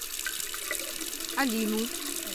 алину